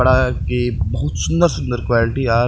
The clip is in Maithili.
कपड़ाआब के बहुत सुंदर-सुंदर क्वालिटी आ --